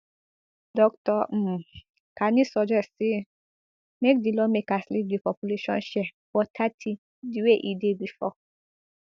dr um kani suggest say make di lawmakers leave di population share for thirty di way e dey bifor